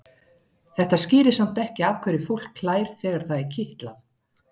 Þetta skýrir samt ekki af hverju fólk hlær þegar það er kitlað.